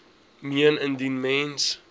meen indien mens